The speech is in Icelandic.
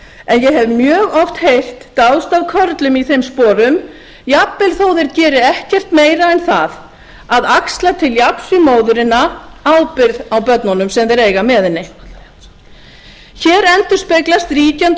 en ég hef mjög oft heyrt dáðst að körlum í þeim sporum jafnvel þó að þeir geri ekkert meira en það að axla til jafns við móðurina ábyrgð á börnunum sem þeir eiga með henni hér endurspeglast ríkjandi